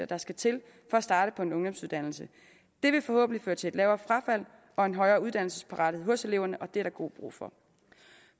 der skal til for at starte på en ungdomsuddannelse det vil forhåbentlig føre til et lavere frafald og en højere uddannelsesparathed hos eleverne og det er der god brug for